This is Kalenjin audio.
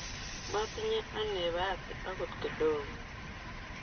Matinye anee bahati akot kidogo.